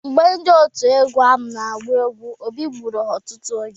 Mgbe ndị òtù egwu ahụ na-agba egwu, Obi bọrọ ha ọtụtụ ego.